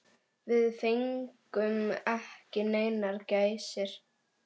Við fengum ekki neinar gæsir.